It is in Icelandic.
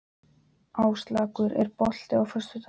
Áslákur, er bolti á föstudaginn?